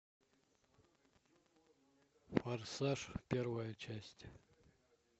форсаж первая часть